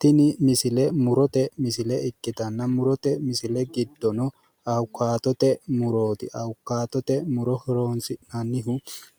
Tini misile murote misile ikkitanna murote misile giddono awukaatote murooti. Awukaatote muro horoonsi'nannihu